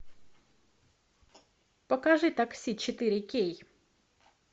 покажи такси четыре кей